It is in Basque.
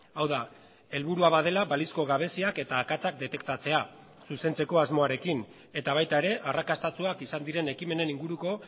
hau da helburua badela balizko gabeziak eta akatsak detektatzea zuzentzeko asmoarekin eta baita ere arrakastatsuak izan diren ekimenen inguruko